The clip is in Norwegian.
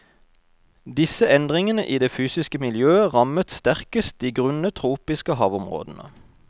Disse endringene i det fysiske miljøet rammet sterkest de grunne tropiske havområdene.